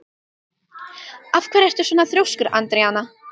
Af hverju ertu svona þrjóskur, Andríana?